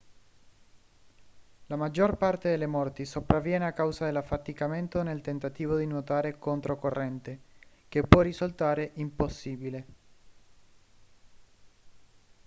la maggior parte delle morti sopravviene a causa dell'affaticamento nel tentativo di nuotare controcorrente che può risultare impossibile